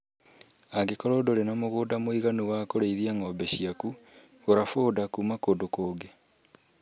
Angĩkorwo ndũrĩ na mũgũnda mũiganu wa kũrĩithia ng'ombe ciakũ gũra foda kuma kũndũ kũngĩ